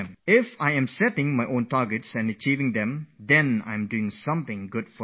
If I set my own targets and I am able to achieve them, then I am sure to do something good for my country